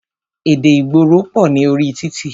Èdè ìgboro pọ̀ ní orí títì.